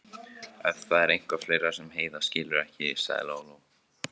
Ef það er eitthvað fleira sem Heiða skilur ekki, sagði Lóa-Lóa.